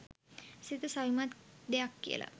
සිත සවිමත් දෙයක් කියලා